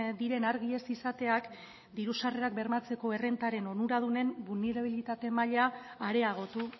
diren argi ez izateak diru sarrerak bermatzeko errentaren onuradunen bulnerabilitate maila areagotu